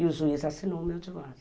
E o juiz assinou o meu divórcio.